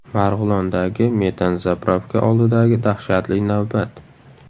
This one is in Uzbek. Marg‘ilondagi metan-zapravka oldidagi dahshatli navbat.